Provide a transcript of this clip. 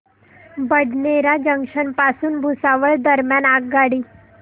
Badnera junction पासून भुसावळ दरम्यान आगगाडी